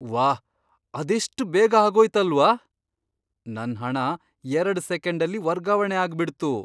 ವಾಹ್! ಅದೆಷ್ಟ್ ಬೇಗ ಆಗೋಯ್ತಲ್ವಾ! ನನ್ ಹಣ ಎರಡ್ ಸೆಕೆಂಡಲ್ಲಿ ವರ್ಗಾವಣೆ ಆಗ್ಬಿಡ್ತು!